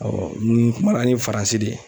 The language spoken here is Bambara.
ni kumana dɔw FARANSI de ye.